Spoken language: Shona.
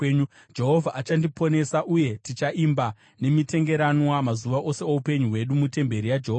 Jehovha achandiponesa, uye tichaimba nemitengeranwa, mazuva ose oupenyu hwedu mutemberi yaJehovha.